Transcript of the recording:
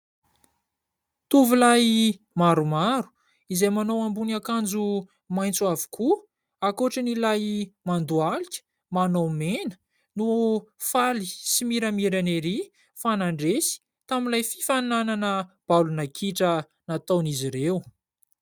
Tovolahy maromaro izay manao ambonin' akanjo maitso avokoa ankoatran' ilay mandohalika manao mena, no faly sy miramirana erỳ fa nandresy tamin'ilay fifaninanana baolina kitra nataon'izy ireo.